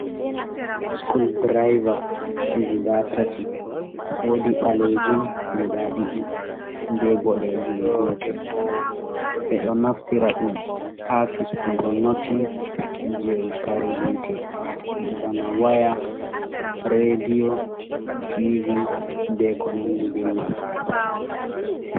School direba guda tati wodi balejum guda ɗiɗi be boɗejum gotel ɓe ɗo naftira ɗum ha fistugo notin je kare hite bana waya redio tiv be konandi be man.